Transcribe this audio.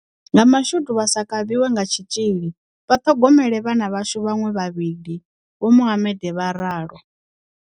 "Nga mashudu vha sa kavhiwe nga tshitzhili, vha ṱhogomela vhana vhashu vhaṅwe vhavhili," Vho Mohammed vha ralo.